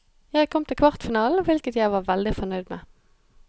Jeg kom til kvartfinalen, hvilket jeg var veldig fornøyd med.